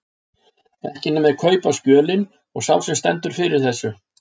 Ekki nema þeir sem kaupa skjölin og sá sem stendur fyrir þessu.